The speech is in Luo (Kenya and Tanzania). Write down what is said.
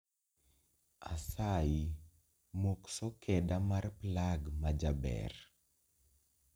Asayi mok sokeda mar plag majaber